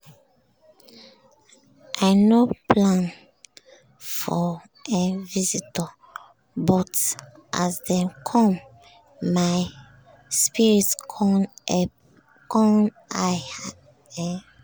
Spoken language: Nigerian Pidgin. i nor plan for um visitor um but as dem come my um spirit com high.